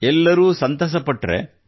ಎಲ್ಲರೂ ಸಂತಸಪಟ್ಟರೆ